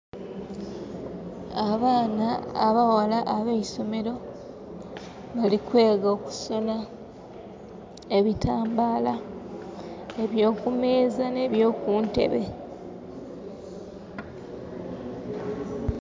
Abaana abaghala abeisomero balikwega okusonha ebitambala ebyo ku meeza ne byo kuntebe.